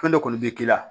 Fɛn dɔ kɔni bɛ k'i la